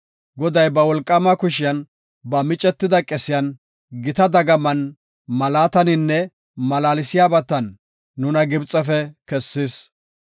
Goday ba wolqaama kushiyan, ba micetida qesiyan, gita dagaman, malaataninne malaalsiyabatan nuna Gibxefe kessis.